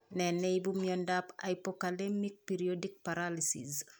Nee neipu miondap hypokalemic periodic paralysis?